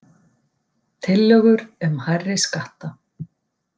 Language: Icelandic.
Tillögur um hærri skatta